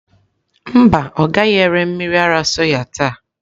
Mba, ọ gaghị ere mmiri ara soya taa.